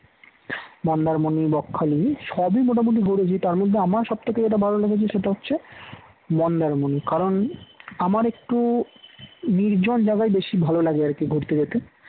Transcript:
মন্দারমনি বকখালি এই সবই মোটামুটি ঘুরেছি তার মধ্যে আমার সবথেকে যেটা ভালো লেগেছে সেটা হচ্ছে মন্দারমনি কারণ আমার একটু নির্জন জায়গায় বেশি ভালো লাগে আর কি ঘুরতে যেতে